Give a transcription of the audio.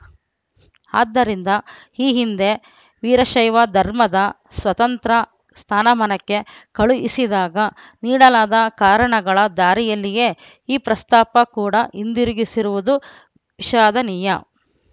ಆದ್ದರಿಂದ ಈ ಹಿಂದೆ ವೀರಶೈವ ಧರ್ಮದ ಸ್ವತಂತ್ರ ಸ್ಥಾನಮಾನಕ್ಕೆ ಕಳುಹಿಸಿದಾಗ ನೀಡಲಾದ ಕಾರಣಗಳ ದಾರಿಯಲ್ಲಿಯೇ ಈ ಪ್ರಸ್ತಾಪ ಕೂಡ ಹಿಂದಿರುಗಿಸಿರುವುದು ವಿಷಾದನೀಯ